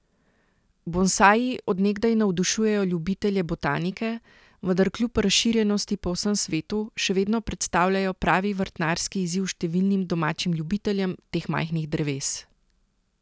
Bonsaji od nekdaj navdušujejo ljubitelje botanike, vendar kljub razširjenosti po vsem svetu še vedno predstavljajo pravi vrtnarski izziv številnim domačim ljubiteljem teh majhnih dreves.